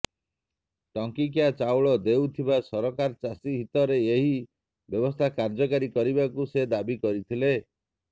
ଟଙ୍କିକିଆ ଚାଉଳ ଦେଉଥିବା ସରକାର ଚାଷୀ ହିତରେ ଏହି ବ୍ୟବସ୍ଥା କାର୍ଯ୍ୟକାରୀ କରିବାକୁ ସେ ଦାବି କରିଥିଲେ